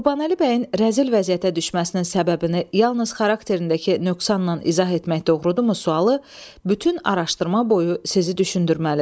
Qurbanəli bəyin rəzil vəziyyətə düşməsinin səbəbini yalnız xarakterindəki nöqsanla izah etmək doğrudurmu sualı bütün araşdırma boyu sizi düşündürməlidir.